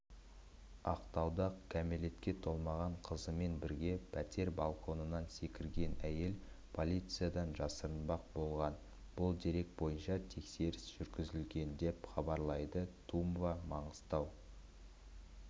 ақтауда кәмелетке толмаған қызымен бірге пәтер балконынан секірген әйел полициядан жасырынбақ болған бұл дерек бойынша тексеріс жүргізілген деп хабарлайды тумба маңғыстау